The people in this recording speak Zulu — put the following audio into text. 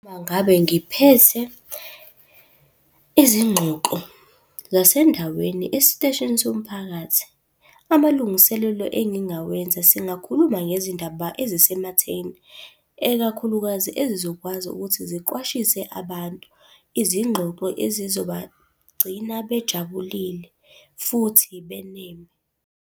Uma ngabe ngiphethe izingxoxo zasendaweni esiteshini somphakathi, amalungiselelo engingawenza singakhuluma ngezindaba ezisematheni, ekakhulukazi ezizokwazi ukuthi ziqwashise abantu. Izingxoxo ezizobagcina bejabulile futhi beneme.